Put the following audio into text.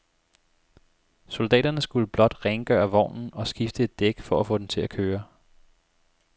Soldaterne skulle blot rengøre vognen og skifte et dæk for at få den til at køre.